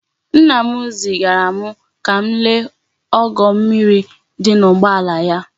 Nna m zigaram ka m lee ogo mmiri di n'ugboala ya di.